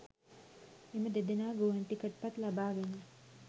එම දෙදෙනා ගුවන් ටිකට් පත් ලබා ගෙන